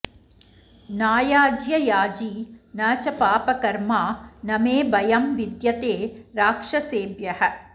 नायाज्ययाजी न च पापकर्मा न मे भयं विद्यते राक्षसेभ्यः